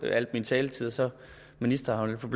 al min taletid så ministeren som